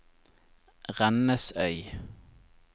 Rennesøy